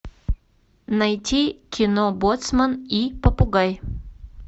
найти кино боцман и попугай